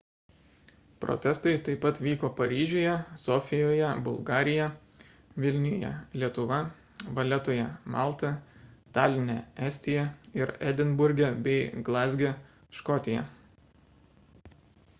protestai taip pat vyko paryžiuje sofijoje bulgarija vilniuje lietuva valetoje malta taline estija ir edinburge bei glazge škotija